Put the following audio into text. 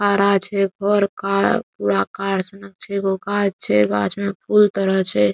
खड़ा छै एगो और कार पूरा कार सनक छै एगो गाछ छै गाछ में फूल तरह छै ।